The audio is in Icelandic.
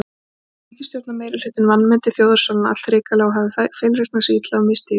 Ég held að ríkisstjórnarmeirihlutinn vanmeti þjóðarsálina allhrikalega og hafi feilreiknað sig illa og misstigið sig.